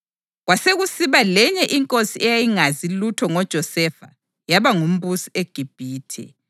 Kwasekusiba ‘lenye inkosi eyayingazi lutho ngoJosefa yaba ngumbusi eGibhithe.’ + 7.18 U-Eksodasi 1.8